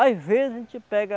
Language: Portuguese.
Às vezes a gente pega